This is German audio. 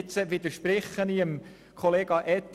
Nun widerspreche ich Kollege Etter.